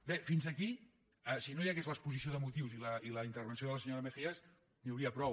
bé fins aquí si no hi hagués l’exposició de motius i la intervenció de la senyora mejías n’hi hauria prou